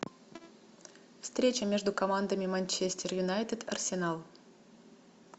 встреча между командами манчестер юнайтед арсенал